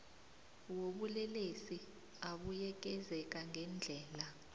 wobulelesi abuyekezeka ngendlela